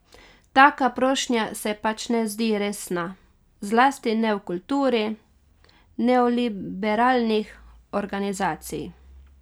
Taka prošnja se pač ne zdi resna, zlasti ne v kulturi neoliberalnih organizacij.